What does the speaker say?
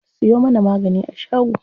Siyo mana magani a shago.